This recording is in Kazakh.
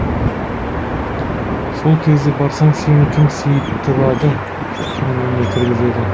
сол кезде барсаң сені кім сыйдырады кім үйіне кіргізеді